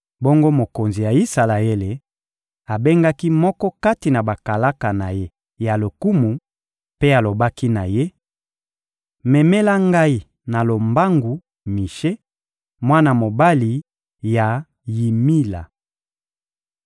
Bongo mokonzi ya Isalaele abengaki moko kati na bakalaka na ye ya lokumu mpe alobaki na ye: — Memela ngai na lombangu Mishe, mwana mobali ya Yimila.